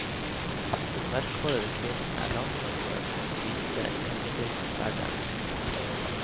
Den mørkhårete kvinnen er langt fra noen novise i tegnefilmens verden.